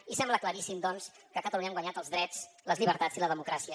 i sembla claríssim doncs que a catalunya han guanyat els drets les llibertats i la democràcia